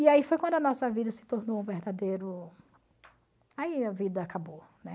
E aí foi quando a nossa vida se tornou um verdadeiro... Aí a vida acabou, né?